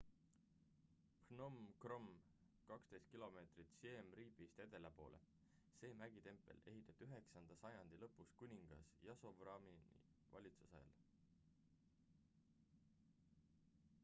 phnom krom 12 km siem reapist edela poole see mägitempel ehitati 9 sajandi lõpus kuningas yasovarmani valitsusajal